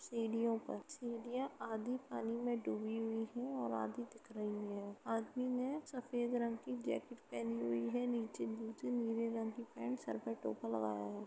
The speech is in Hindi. सीढ़ियों पर सीढियाँ आधी पानी में डूबी हुई हैं और आधी दिख रही है। आदमी ने सफ़ेद रंग की जैकेट पहनी हुई है। नीचे निचे नीले रंग की पेंट सर पे टोपा लगाया है।